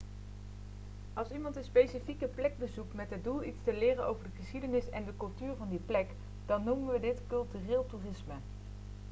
als iemand een specifieke plek bezoekt met het doel iets te leren over de geschiedenis en de cultuur van die plek dan noemen we dit cultureel toerisme